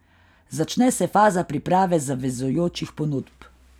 Začne se faza priprave zavezujočih ponudb.